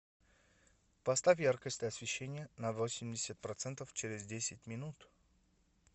поставь яркость освещения на восемьдесят процентов через десять минут